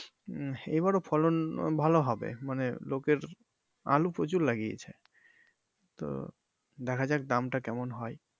উম এইবারও ফলন ভালো হবে মানে লোকের আলু প্রচুর লাগিয়েছে তো দেখা যাক দাম টা কেমন হয়।